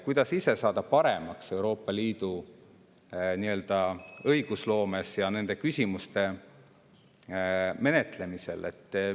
Kuidas ise saada paremaks Euroopa Liidu õigusloomes ja nende küsimuste menetlemisel?